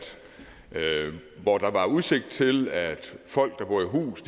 hvor der var udsigt til at folk der bor i hus